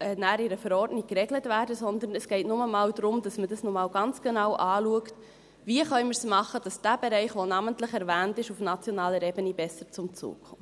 in einer Verordnung geregelt werden –, sondern es geht nur einmal darum, dass man einmal ganz genau anschaut, wie wir es machen können, damit dieser Bereich, der auf nationaler Ebene namentlich erwähnt ist, besser zum Zuge kommt.